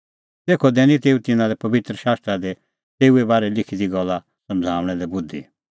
तेखअ दैनी तेऊ तिन्नां लै पबित्र शास्त्रा दी तेऊए बारै लिखी दी गल्ला समझ़णा लै बुधि